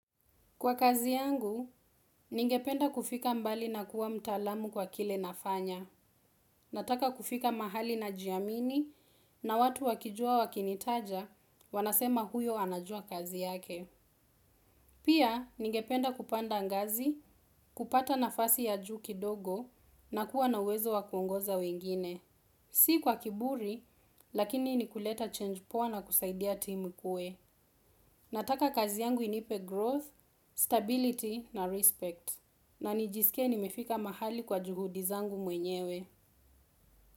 Kwa kazi yangu, ningependa kufika mbali na kuwa mtaalamu kwa kile nafanya. Nataka kufika mahali na jiamini na watu wakijua wakinitaja, wanasema huyo anajua kazi yake. Pia ningependa kupanda ngazi kupata nafasi ya juu kidogo na kuwa na uwezo wa kuongoza wengine. Si kwa kiburi, lakini ni kuleta change poa na kusaidia timu ikue. Nataka kazi yangu inipe growth, stability na respect. Na nijiskie nimefika mahali kwa juhudi zangu mwenyewe.